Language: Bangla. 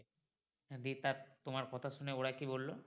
হ্যাঁ দিয়ে তার তোমার কথা শুনে ওরা কী বললো?